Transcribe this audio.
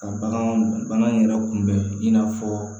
Ka bagan bana yɛrɛ kunbɛn i n'a fɔ